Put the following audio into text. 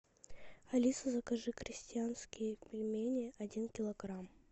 алиса закажи крестьянские пельмени один килограмм